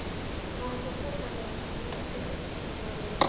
Vatn úr Þvottalaugunum notað til upphitunar í